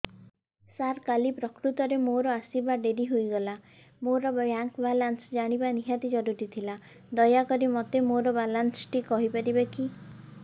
ସାର କାଲି ପ୍ରକୃତରେ ମୋର ଆସିବା ଡେରି ହେଇଗଲା ମୋର ବ୍ୟାଙ୍କ ବାଲାନ୍ସ ଜାଣିବା ନିହାତି ଜରୁରୀ ଥିଲା ଦୟାକରି ମୋତେ ମୋର ବାଲାନ୍ସ ଟି କହିପାରିବେକି